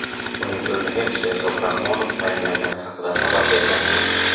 uning o‘rniga Sherzod Rahmonov tayinlangani haqida xabar bergan edik.